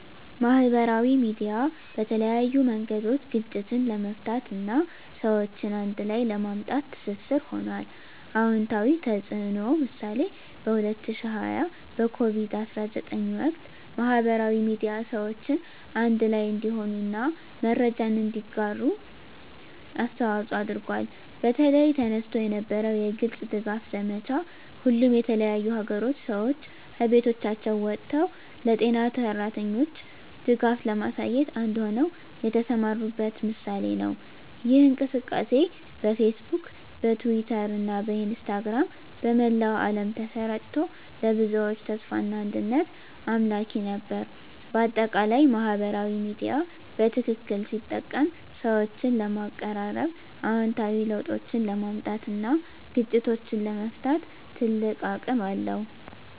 ማህበራዊ ሚዲያ በተለያዩ መንገዶች ግጭትን ለመፍታት እና ሰዎችን አንድ ላይ ለማምጣት ትስስር ሆኗል። #*አዎንታዊ ተፅዕኖ (ምሳሌ) በ2020 በኮቪድ-19 ወቅት፣ ማህበራዊ ሚዲያ ሰዎችን አንድ ላይ እንዲሆኑ እና መረጃን እንዲያጋሩ አስተዋፅዖ አድርጓል። በተለይ፣ ተነስቶ የነበረው የግልጽ ድጋፍ ዘመቻ፣ ሁሉም የተለያዩ አገሮች ሰዎች ከቤቶቻቸው ወጥተው ለጤና ሠራተኞች ድጋፍ ለማሳየት አንድ ሆነው የተሰማሩበት ምሳሌ ነው። ይህ እንቅስቃሴ በፌስቡክ፣ በትዊተር እና በኢንስታግራም በመላው ዓለም ተሰራጭቶ፣ ለብዙዎች ተስፋና አንድነት አምላኪ ነበር። በአጠቃላይ፣ ማህበራዊ ሚዲያ በትክክል ሲጠቀም ሰዎችን ለማቀራረብ፣ አዎንታዊ ለውጦችን ለማምጣት እና ግጭቶችን ለመፍታት ትልቅ አቅም አለው።